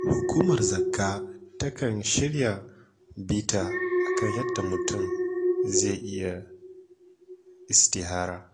Hukumar zakka takan shirya bita a kan yadda mutum zai yi istihara.